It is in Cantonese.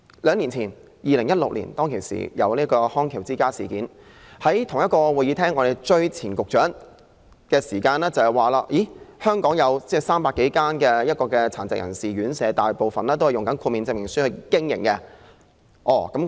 兩年前，即2016年，"康橋之家事件"被揭發，當時我們曾在此追問前局長，據他表示，全港有300多間殘疾人士院舍，大部分也是憑藉豁免證明書經營。